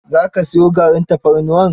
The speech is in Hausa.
Za ka siyo garin tafarnuwar?